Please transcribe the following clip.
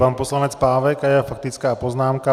Pan poslanec Pávek a jeho faktická poznámka.